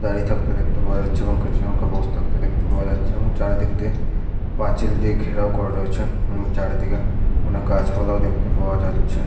দাঁড়িয়ে থাকতে দেখতে পাওয়া যাচ্ছে এবং কিছু জন কে বসে থাকতে দেখতে পাওয়া যাচ্ছে চারিদিক দিয়ে পাঁচিল দিয়ে ঘেরাও করা রয়েছে ।এবং চারিদিকে অনেক গাছপালা ও দেখতে পাওয়া যাচ্ছে --